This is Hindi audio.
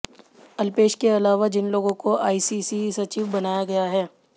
अल्पेश के अलावा जिन लोगों को एआईसीसी सचिव बनाया गया है